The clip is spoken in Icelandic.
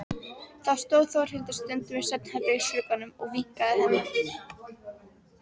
Þá stóð Þórhildur stundum í svefnherbergisglugganum og vinkaði henni.